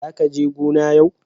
zaka je gona yau.